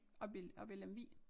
Oppe i oppe i Lemvig